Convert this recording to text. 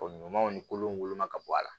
Ko ɲumanw ni kolo woloma ka bɔ a la